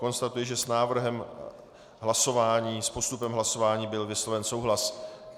Konstatuji, že s návrhem hlasování, s postupem hlasování byl vysloven souhlas.